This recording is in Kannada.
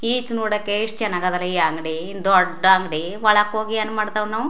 ಈಚ್ ನೋಡಕ್ಕೆ ಎಷ್ಟ ಚನ್ನಾಗದ್ ಲ ಈ ಅಂಗಡಿ ಇನ್ನ ದೊಡ್ಡ ಅಂಗಡಿ ಒಳಕ್ ಹೋಗಿ ಏನ್ ಮಾಡತ್ವ್ ನಾವು.